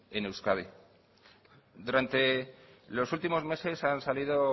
en euskadi durante los últimos meses han salido